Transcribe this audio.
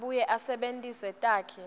abuye asebentise takhi